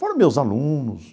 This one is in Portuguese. Foram meus alunos.